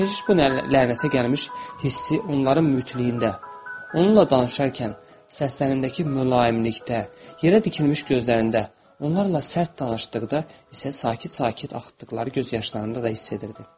Keşiş bu lənətə gəlmiş hissi onların mütiliyində, onunla danışarkən səslərindəki mülayimlikdə, yerə tikilmiş gözlərində, onlarla sərt danışdıqda isə sakit-sakit axıtdıqları göz yaşlarında da hiss edirdi.